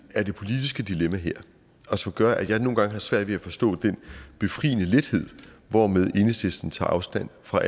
er det politiske dilemma her og som gør at jeg nogle gange har svært ved at forstå den befriende lethed hvormed enhedslisten tager afstand fra